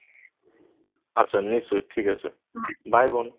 আচ্ছা নিশ্চয়ই ঠিক আছে Bye বোন।